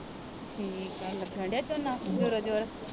ਠੀਕ ਆ ਲੱਗਣ ਦਿਆ ਝੋਨਾ ਜ਼ੋਰੋ ਜ਼ੋਰ